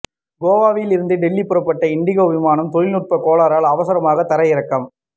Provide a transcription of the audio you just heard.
கோவாவில் இருந்து டெல்லி புறப்பட்ட இண்டிகோ விமானம் தொழில்நுட்ப கோளாறால் அவசரமாக தரையிறக்கம்